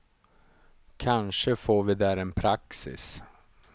Kanske får vi där en praxis.